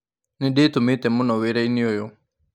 Nĩ ndĩ tũmĩ te mũno wĩ rainĩ ũyũ.